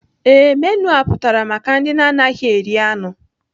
Ee, menu a pụtara maka ndị anaghị eri anụ.